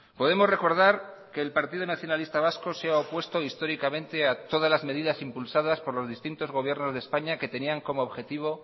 podemos recordar que el partido nacionalista vasco se ha opuesto históricamente a todas las medidas impulsadas por los distintos gobiernos de españa que tenían como objetivo